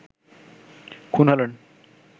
খুন হলেন